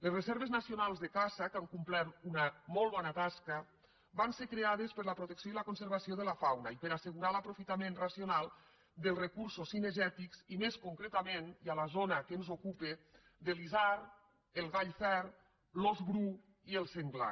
les reserves nacionals de caça que han complert una molt bona tasca van ser creades per a la protecció i la conservació de la fauna i per assegurar l’aprofitament racional dels recursos cinegètics i més concretament i a la zona que ens ocupa de l’isard el gall fer l’ós bru i el senglar